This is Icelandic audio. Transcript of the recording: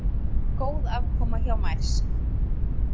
Góð afkoma hjá Mærsk